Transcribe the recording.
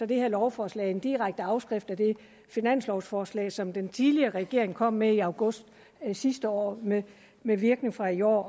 det her lovforslag en direkte afskrift af det finanslovforslag som den tidligere regering kom med i august sidste år med med virkning fra i år og